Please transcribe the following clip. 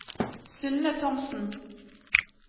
Synne Thomsen